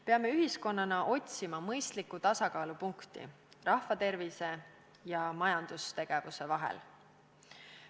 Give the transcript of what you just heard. Peame ühiskonnana otsima mõistlikku tasakaalupunkti rahvatervise ja majandustegevuse vahel.